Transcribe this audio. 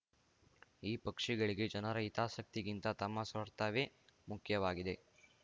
ಈ ಪಕ್ಷಗಳಿಗೆ ಜನರ ಹಿತಾಸಕ್ತಿಗಿಂತ ತಮ್ಮ ಸ್ವಾರ್ಥವೇ ಮುಖ್ಯವಾಗಿದೆ